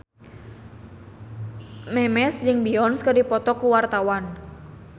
Memes jeung Beyonce keur dipoto ku wartawan